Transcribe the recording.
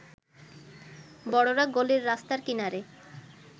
বড়রা গলির রাস্তার কিনারে